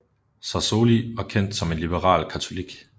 Sassoli var kendt som en liberal katolik